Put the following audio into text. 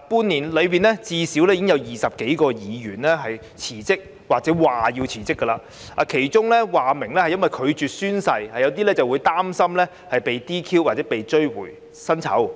半年來，最少有20多位區議員因不同理由而辭職或表示將會辭職，當中有些議員表明是因為拒絕宣誓，有些則擔心被 "DQ" 或被追回薪酬。